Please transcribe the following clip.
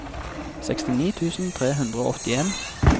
sekstini tusen tre hundre og åttien